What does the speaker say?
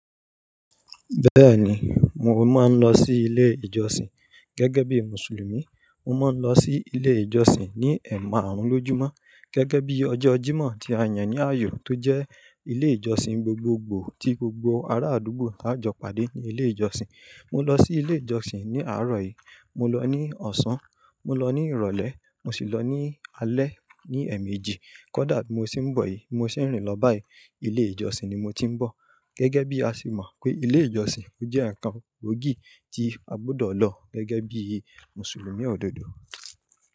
Bẹ́ẹ̀ni, mo máa ń lọ sí ilé ìjọsìn. Gẹ́gẹ́ bí Mùsùlùmí, mo máa ń lọ sí ilé ìjọsìn ní ẹ̀maàrún lójúmọ́. Gẹ́gẹ́ bí ọjọ́ Jímọ̀ tí a yàn ní ààyò tó jẹ́ ilé ìjọsìn gbogbogbò tí gbogbo ará àdúgbò á jọ pàdé ní ilé ìjọsìn. Mo lọ sí ilé ìjọsìn ní àárọ̀ yìí, mo lọ ní Ọ̀sán, mo lọ ní Ìrọ̀lẹ́, mo sì lọ ní alẹ́ ní ẹ̀mejì. Kódà bi mo ṣe ń bọ̀ yìí, bi mo ṣe ń rìn lọ báyìí, ilé ìjọsìn ni mo ti ń bọ̀. Gẹ́gẹ́ bí a ṣe mọ̀ pé ilé ìjọsìn jẹ́ ǹkan gbògì tí a gbọdọ̀ lọ gẹ́gẹ́ bí Mùsùlùmí òdodo.